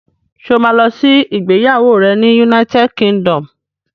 Ṣé o ma lọ sí ìgbéyàwó rẹ̀ ní United Kingdom?